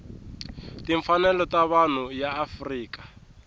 timfanelo ta vanhu ya afrika